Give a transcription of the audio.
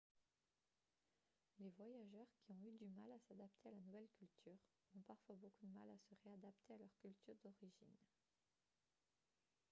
les voyageurs qui ont eu du mal à s'adapter à la nouvelle culture ont parfois beaucoup de mal à se réadapter à leur culture d'origine